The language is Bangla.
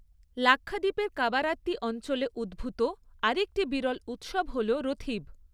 লাক্ষাদ্বীপের কাবারাত্তি অঞ্চলে উদ্ভূত আরেকটি বিরল উৎসব হল রথীব।